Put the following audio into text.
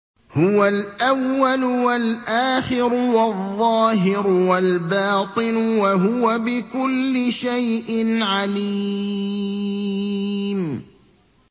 هُوَ الْأَوَّلُ وَالْآخِرُ وَالظَّاهِرُ وَالْبَاطِنُ ۖ وَهُوَ بِكُلِّ شَيْءٍ عَلِيمٌ